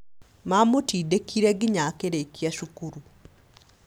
Mamũtindĩkĩre nginya akĩrĩkia cukuru